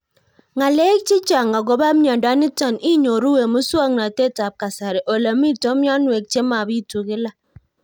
Ng'alek chechang' akopo miondo nitok inyoru eng' muswog'natet ab kasari ole mito mianwek che mapitu kila